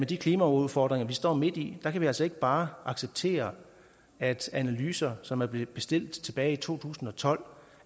de klimaudfordringer vi står midt i altså ikke bare acceptere at analyser som er blevet bestilt tilbage i to tusind og tolv